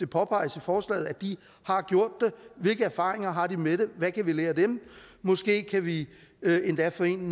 påpeges i forslaget at de har gjort det hvilke erfaringer har de med det hvad kan vi lære af dem måske kan vi endda få en